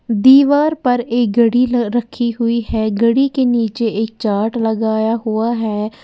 दीवार पर एक घड़ी रखी हुई है। घड़ी के नीचे एक चार्ट लगाया हुआ है।